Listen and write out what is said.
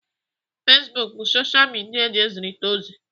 Facebook bụ soshal midia eji ezirita ozi.